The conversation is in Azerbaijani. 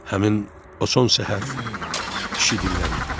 Həmin o son səhər, kişi dilləndi.